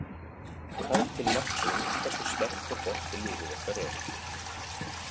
Það er til marks um hversu sterkt og gott liðið okkar er!